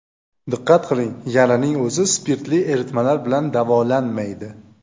Diqqat qiling – yaraning o‘zi spirtli eritmalar bilan davolanmaydi.